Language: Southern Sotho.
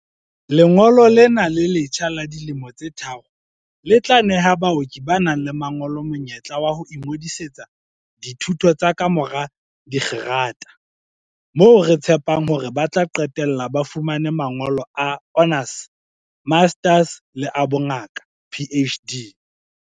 "Lengolo lena le letjha la dilemo tse tharo le tla neha baoki ba nang le mangolo monyetla wa ho ingodi-setsa dithuto tsa kamora dikgerata, moo re tshepang hore ba tla qetella ba fumane mangolo a honours, masters le a bongaka, PhD."